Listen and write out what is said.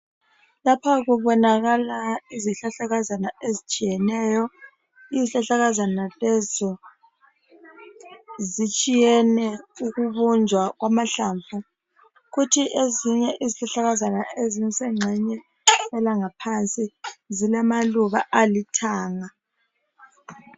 Lapha kubonakala izihlahlakazana ezitshiyeneyo, izihlahlakazana lezi zitshiyene ukubunjwa kwamahlamvu. Kuthi ezinye izihlahlakazana ezisenxenye elangaphansi zilamaluba alithanga.